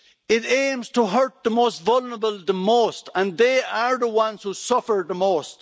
It aims to hurt the most vulnerable the most, and they are the ones who suffer the most.